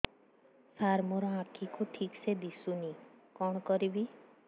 ସାର ମୋର ଆଖି କୁ ଠିକସେ ଦିଶୁନି କଣ କରିବି